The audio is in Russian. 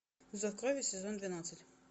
зов крови сезон двенадцать